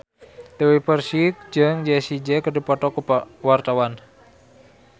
Dewi Persik jeung Jessie J keur dipoto ku wartawan